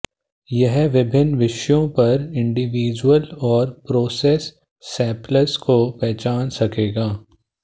यह विभिन्न विषयों पर इंडिविजुअल और प्रोसेस सैंपल्स को पहचान सकेगा